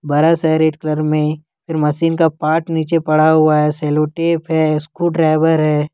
बड़ा सा red colour में मशीन का पाट रखा हुआ है सेलो टेप है स्क्रूड्राइवर है।